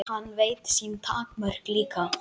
Hann veit sín takmörk líka.